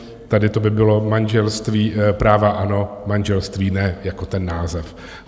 Tady to by bylo manželství - práva ano, manželství ne, jako ten název.